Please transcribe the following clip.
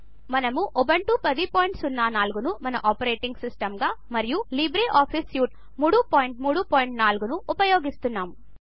మనము ఉబంటు 1004 ను మన ఆపరేటింగ్ సిస్టంగా మరియు లిబ్రేఆఫీస్ సూట్ వెర్షన్ 334 ను ఉపయోగిస్తాము